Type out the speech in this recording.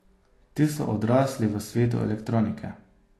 Ti so odrasli v svetu elektronike.